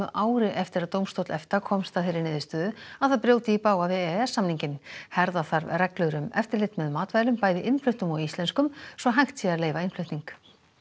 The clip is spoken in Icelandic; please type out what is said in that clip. ári eftir að dómstóll EFTA komst að þeirri niðurstöðu að það brjóti í bága við e e s samninginn herða þarf reglur um eftirlit með matvælum bæði innfluttum og íslenskum svo hægt sé að leyfa innflutning